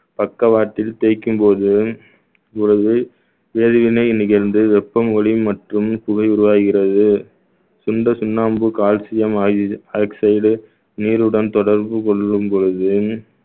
பக்கவாட்டில் தேய்க்கும் போதும் ஒரு வேதிவினை நிகழ்ந்து வெப்பம் ஒளி மற்றும் புகை உருவாகிறது சுண்ட சுண்ணாம்பு calcium oxyg~ oxide நீருடன் தொடர்பு கொள்ளும் பொழுது